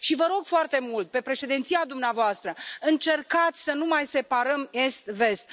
Vă rog foarte mult, pe președinția dumneavoastră, încercați să nu mai separăm est vest.